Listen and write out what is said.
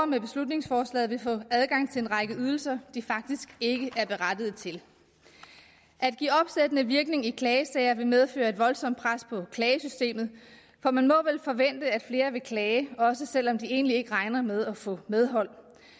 med beslutningsforslaget vil få adgang til en række ydelser de faktisk ikke er berettiget til at give opsættende virkning i klagesager vil medføre et voldsomt pres på klagesystemet for man må vel forvente at flere vil klage også selv om de egentlig ikke regner med at få medhold